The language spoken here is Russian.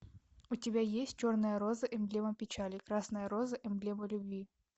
у тебя есть черная роза эмблема печали красная роза эмблема любви